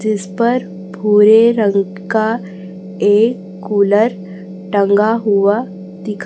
जिस पर भुरे रंग का एक कुलर टंगा हुआ दिखा--